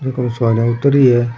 एक और सवारियां उत्तर री है।